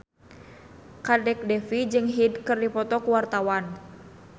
Kadek Devi jeung Hyde keur dipoto ku wartawan